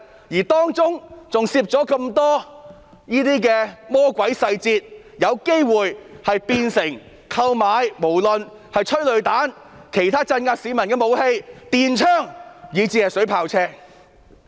而且當中還有很多魔鬼細節，讓警隊有機會購買催淚彈、其他鎮壓市民的武器、電槍，以至水炮車。